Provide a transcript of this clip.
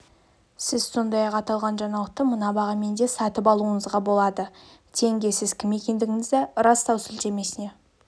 сіз сондай-ақ аталған жаңалықты мына бағамен де сатып алуыңызға болады тенге сіз кім екендігіңізді растау сілтемесіне